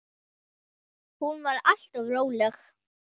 Hún var alltaf róleg.